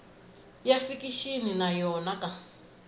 ya fikixini na yo ka